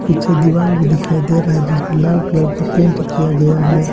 पीछे दीवाल भी दिखाई दे रहा है जिस पे लाल कलर का पेंट किया गया है।